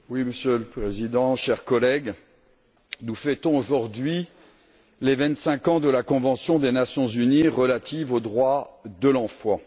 Monsieur le Président, chers collègues, nous fêtons aujourd'hui les vingt cinq ans de la Convention des Nations unies relative aux droits de l'enfant.